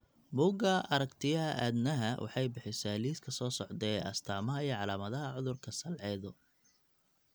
Buugga Aragtiyaha Aadanaha waxay bixisaa liiska soo socda ee astamaha iyo calaamadaha cudurka Salcedo .